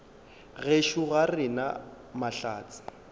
gešo ga re na mahlatse